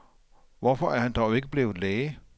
Hvorfor er han dog ikke blevet læge?